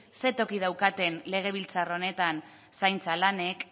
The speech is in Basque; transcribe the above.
zein toki daukaten legebiltzar honetan zaintza lanek